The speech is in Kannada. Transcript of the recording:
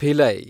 ಭಿಲೈ